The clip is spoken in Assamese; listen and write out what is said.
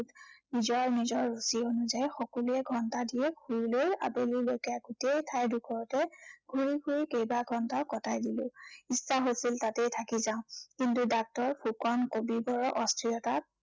নিজৰ নিজৰ ৰুচি অনুযায়ী সকলোৱে ঘন্টাদিয়েক শুই লৈ আবেলিলৈকে গোটেই ঠাই ডোখৰতে ঘূৰি ফুৰি কেইবা ঘন্টাও কটাই দিলো। ইচ্ছা হৈছিল তাতেই থাকি যাম। কিন্তু doctor ফুকন কবিবৰৰ অস্থিৰতাত